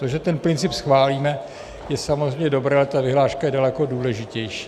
To, že ten princip schválíme, je samozřejmě dobré, ale ta vyhláška je daleko důležitější.